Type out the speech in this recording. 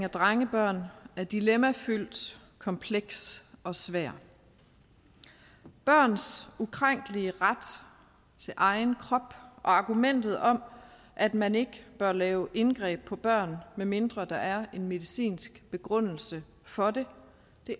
af drengebørn er dilemmafyldt kompleks og svær børns ukrænkelige ret til egen krop og argumentet om at man ikke bør lave indgreb på børn medmindre der er en medicinsk begrundelse for det